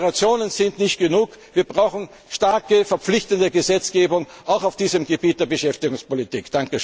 Deklarationen sind nicht genug, wir brauchen starke, verpflichtende Gesetzgebung auch auf diesem Gebiet der Beschäftigungspolitik.